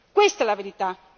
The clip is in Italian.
Questa è la verità.